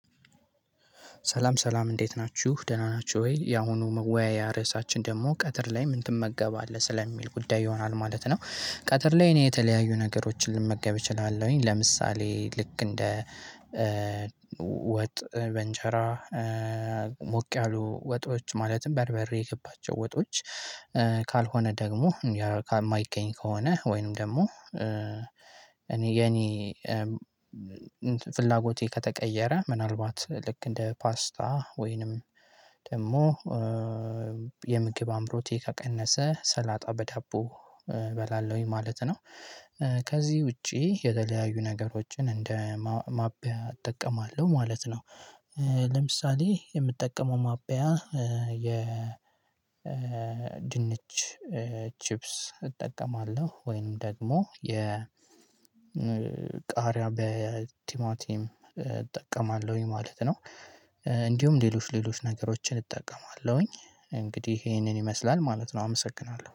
ሰላም ሰላም እንዴት ናችሁ ደህና ናችሁ ወይ ያሁኑ መወያያ ርሳችን ደግሞ ቀትር ላይ ምን ትመገባለህ ስለሚል ጉዳይ ይሆናል ማለት ነው? ቀትር ላይ እኔ የተለያዩ ነገሮችን ልመገብ እችላለሁኝ ለምሳሌ ልክ እንደ ወጥ በእንጀራ ሞቅ ያሉ ወጦች ማለትም በርበሬ የገባቸው ወጦች። ካልሆነ ደግሞ የማይገኝ ከሆነ ወይንም ደግሞ እኔ የኔ ፍላጎቴ ከተቀየረ ምናልባት ልክ እንደ ፓስታ ወይንም ደግሞ የምግብ አምሮቴ ከቀነሰ ሰላጣ በዳቦ እበላለሁኝ ማለት ነው። ከዚህ ውጪ የተለያዩ ነገሮችን እንደ ማብያ እጠቀማለሁ ማለት ነው። ለምሳሌ የምጠቀመው ማብያ የ ድንች ቺፕስ እጠቀማለሁ ወይም ደግሞ የ ቃሪያ በቲማቲም እጠቀማለሁኝ ማለት ነው። እንዲሁም ሌሎች ሌሎች ነገሮችን እጠቀማለሁኝ እንግዲህ ይህንን ይመስላል ማለት ነው አመሰግናለሁ